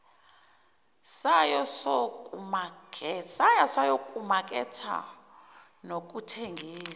sayo sokumaketha nokuthengisa